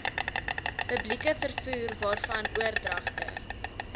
publieke vervoerwaarvan oordragte